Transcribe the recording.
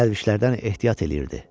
Dəlvişlərdən ehtiyat eləyirdi.